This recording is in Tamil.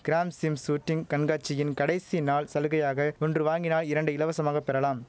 கிராம்ஸிம் சூட்டிங் கண்காட்சியின் கடைசி நாள் சலுகையாக ஒன்று வாங்கினால் இரண்டு இலவசமாக பெறலாம்